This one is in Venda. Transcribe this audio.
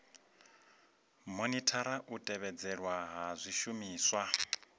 monithara u tevhedzelwa ha zwishumiswa